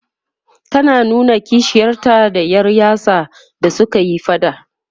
tana ta nuna kishiyarta da Yar yatsa da sukayi faɗa